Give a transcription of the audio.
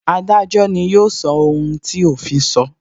Adájọ́ ni yóò sọ ohun tí òfin so